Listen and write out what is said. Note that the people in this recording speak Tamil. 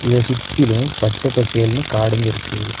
இத சுத்திலு பச்ச பசேல்னு காடுங்க இருக்கு.